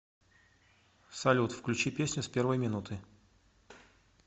салют включи песню с первой минуты